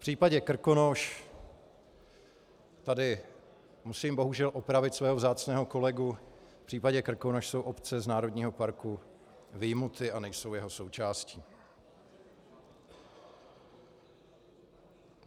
V případě Krkonoš, tady musím bohužel opravit svého vzácného kolegu, v případě Krkonoš jsou obce z národního parku vyjmuty a nejsou jeho součástí.